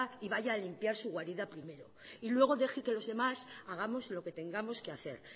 y vaya a limpiar su guarida primero y luego deje que los demás hagamos lo que tengamos que hacer